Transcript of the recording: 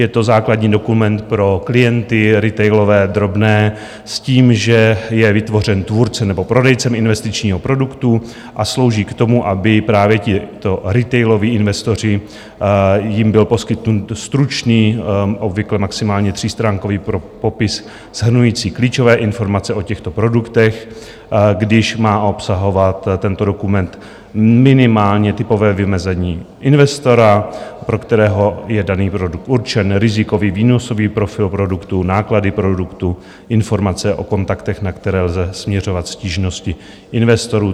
Je to základní dokument pro klienty retailové, drobné, s tím, že je vytvořen tvůrcem nebo prodejcem investičního produktu a slouží k tomu, aby právě tito retailoví investoři... jim byl poskytnut stručný, obvykle maximálně třístránkový, popis shrnující klíčové informace o těchto produktech, když má obsahovat tento dokument minimálně typové vymezení investora, pro kterého je daný produkt určen, rizikový, výnosový profil produktů, náklady produktů, informace o kontaktech, na které lze směřovat stížnosti investorů.